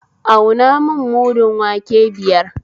Auna mun mudun wake biyar